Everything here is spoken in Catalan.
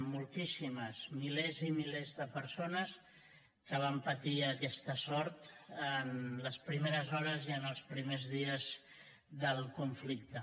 moltíssimes milers i milers de persones que van patir aquesta sort en les primeres hores i en els primers dies del conflicte